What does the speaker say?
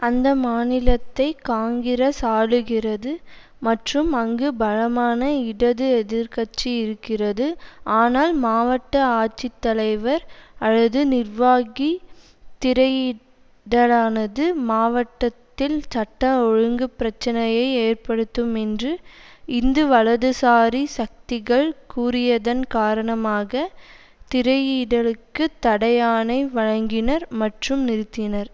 அந்த மாநிலத்தை காங்கிரஸ் ஆளுகிறது மற்றும் அங்கு பலமான இடது எதிர் கட்சி இருக்கிறது ஆனால் மாவட்ட ஆட்சித்தலைவர் அல்லது நிர்வாகி திரையிடலானது மாவட்டத்தில் சட்ட ஒழுங்கு பிரச்சினையை ஏற்படுத்தும் என்று இந்து வலதுசாரி சக்திகள் கூறியதன் காரணமாக திரையிடலுக்கு தடை ஆணை வழங்கினார் மற்றும் நிறுத்தினார்